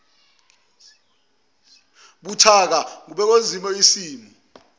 buthaka ngokwengeziwe isimiso